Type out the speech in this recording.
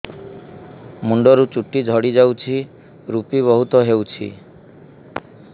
ମୁଣ୍ଡରୁ ଚୁଟି ଝଡି ଯାଉଛି ଋପି ବହୁତ ହେଉଛି